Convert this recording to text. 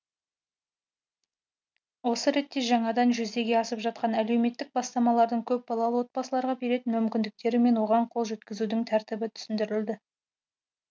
осы ретте жаңадан жүзеге асып жатқан әлеуметтік бастамалардың көпбалалы отбасыларға беретін мүмкіндіктері мен оған қол жеткізудің тәртібі түсіндірілді